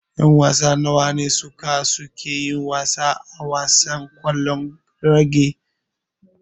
Yan wasa nawa ne suka suke yin wasa a wasan ƙwallon raga.